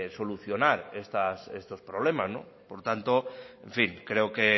solucionar estos problemas por tanto en fin creo que